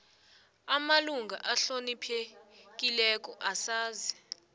amalunga ahloniphekileko asazi